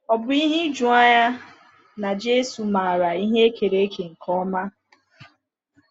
Ò bụ ihe ijuanya na Jésù maara ihe e kere eke nke ọma?